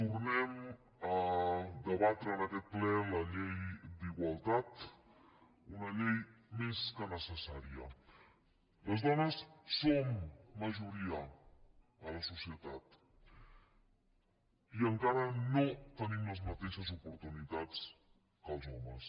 tornem a debatre en aquest ple la llei d’igualtat una llei més que necessària les dones som majoria a la societat i encara no tenim les mateixes oportunitats que els homes